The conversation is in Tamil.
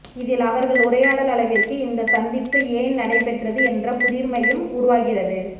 இதில் அவர்கள் உரையாடல் அளவிற்கு இந்த சந்திப்பு ஏன் நடைபெற்றது என்ற புதிர்மையும் உருவாகிறது